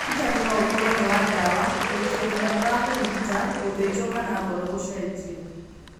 Ũrigitani no ũkorwo wĩ wa ndawa, gũikio kanyamu ga kũrigita, gũthinjwo kana ngoro gũcenjio.